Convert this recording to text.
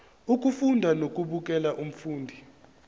ukufunda nokubukela umfundi